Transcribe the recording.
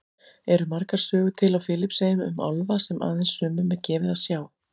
Eru margar sögur til á Filippseyjum um álfa sem aðeins sumum er gefið að sjá?